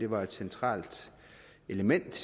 var et centralt element